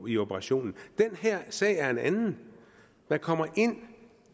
i operationen den her sag er en anden man kommer ind